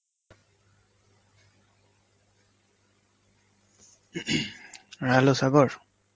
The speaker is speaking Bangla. hello সাগর